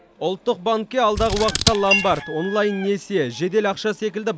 ұлттық банкке алдағы уақытта ломбард онлайн несие жедел ақша секілді